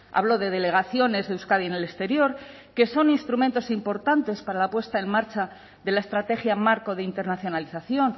hablo de delegaciones de euskadi en el exterior que son instrumentos importantes para la puesta en marcha de la estrategia marco de internacionalización